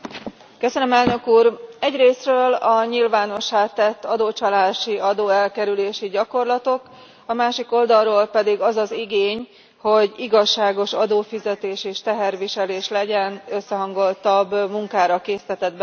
Elnök Úr, egyrészről a nyilvánossá tett adócsalási, adóelkerülési gyakorlatok, a másik oldalról pedig az az igény, hogy igazságos adófizetés és teherviselés legyen, összehangoltabb munkára késztetett bennünket.